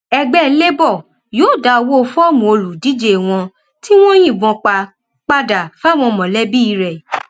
ẹgbẹ labour yóò dá owó fọọmù olùdíje wọn tí wọn yìnbọn pa padà fáwọn mọlẹbí rẹ